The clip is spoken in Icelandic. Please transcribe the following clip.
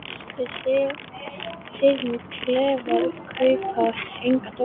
Við sem sitjum í klefunum kaupum enga dóma.